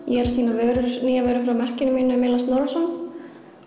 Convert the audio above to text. er að sýna nýjar vörur frá merkinu mínu Milla Snorrason